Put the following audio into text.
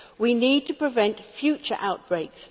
We need to prevent future outbreaks.